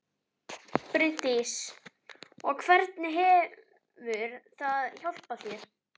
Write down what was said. Bryndís: Og hvernig hefur það hjálpað þér?